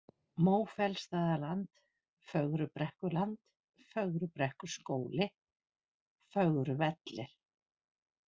Mófellstaðarland, Fögrubrekkuland, Fögrubrekkuskóli, Fögruvellir